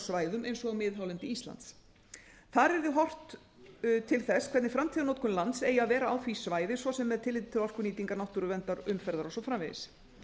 svæðum eins og miðhálendi íslands þar yrði horft til þess hvernig framtíðarnotkunlands eigi að vera á því svæði svo sem með tilliti til orkunýtingar náttúruverndar umferðar og svo framvegis